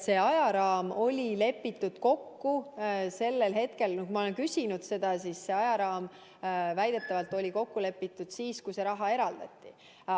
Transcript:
See ajaraam – ma olen seda küsinud – lepiti väidetavalt kokku siis, kui see raha eraldati.